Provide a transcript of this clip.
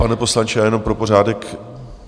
Pane poslanče, já jenom pro pořádek.